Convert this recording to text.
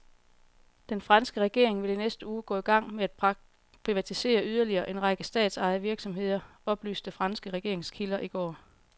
Den franske regering vil i næste uge gå i gang med at privatisere yderligere en række statsejede virksomheder, oplyste franske regeringskilder i går.